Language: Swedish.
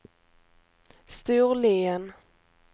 Storlien